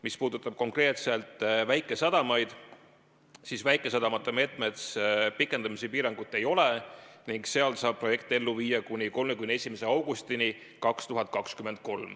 Mis puudutab konkreetselt väikesadamaid, siis väikesadamate meetme puhul pikendamise piirangut ei ole ning seal saab projekte ellu viia kuni 31. augustini 2023.